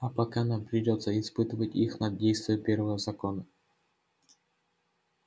а пока нам придётся испытывать их на действие первого закона